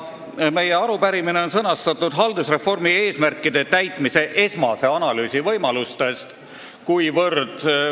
Meie arupärimise teema on "Haldusreformi eesmärkide täitmise esmase analüüsi võimaluste kohta".